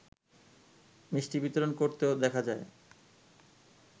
মিষ্টি বিতরণ করতেও দেখা যায়